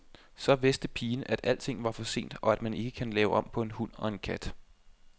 Så vidste pigen, at alting var for sent og at man ikke kan lave om på en hund og en kat.